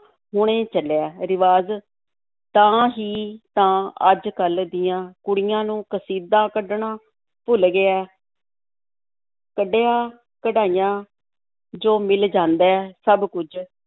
ਹੁਣੇ ਚੱਲਿਆ ਰਿਵਾਜ਼, ਤਾਂ ਹੀ ਤਾਂ ਅੱਜ-ਕੱਲ੍ਹ ਦੀਆਂ ਕੁੜੀਆਂ ਨੂੰ ਕਸੀਦਾ ਕੱਢਣਾ ਭੁੱਲ ਗਿਆ ਹੈ ਕੱਢਿਆ ਕਢਾਇਆ ਜੋ ਮਿਲ ਜਾਂਦਾ ਹੈ, ਸਭ ਕੁੱਝ